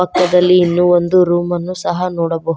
ತ್ರದಲ್ಲಿ ಇನ್ನು ಒಂದು ರೂಮನ್ನು ಸಹ ನೋಡಬಹು--